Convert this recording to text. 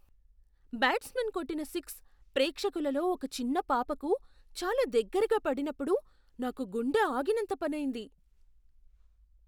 Batsman కొట్టిన six ప్రేక్షకులలో ఒక చిన్న పాపకు చాలా దగ్గరగా పడినప్పుడు నాకు గుండె ఆగినంత పనయింది.